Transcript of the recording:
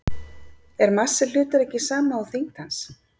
Er massi hlutar ekki sama og þyngd hans?